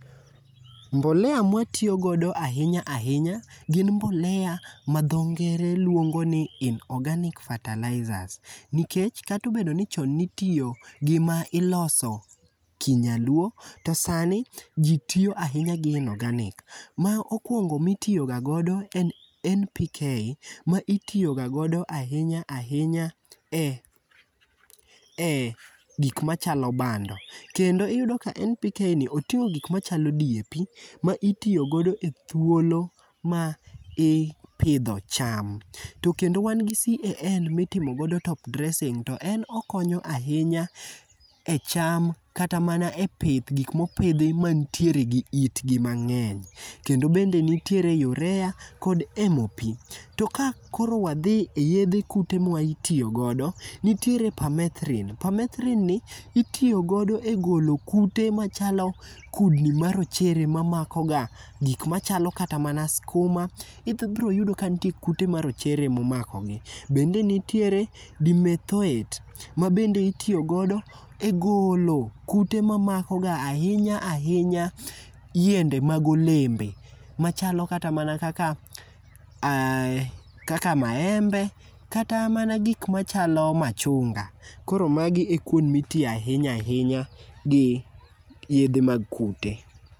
Mbolea ma watiyo godo ahinya ahinya gin mag mbolea ma dho ngere luongo ni inorganic fertilizer, nikech kata obedo ni chon ne itiyo gi ma iloso kinyaluo, to sani ji tiyo ahinya gi inorganic. Mokuongo ma itiyoga godo en NPK ma itiyoga godo ahinya ahinya e gik machalo bando kendo iyudoka NPK ni oting'o gik machalo DAP ma itiyo godo e ndalo ma ithiedho cham. To kendo wan gi CAN ma itimo godo top dressing to en okonyo ahinya e cham kata man e pith gik mopidhi mantiere gi itgi mang'eny. Kendo bende nitiere urea kod MP to ka koro wadhi eyiero mkothe ma itiyongodo nitiere permethalin, permethalin ni itiyo godo egolo kute machalo kudni marochere mamako ga gik machalo kata mana huma ibiro yudo ka nitiere kute marochere momako gi, bende nitiere dimethoit mabende itiyogodo egolo kute mamako ga ahinya ahinya yiende mag olembe machalo kata mana kaka kaka maembe kata mana gik machalo machunga. Koro magi e kuonde ma itiyoe ahinya gi yedhe mag kute.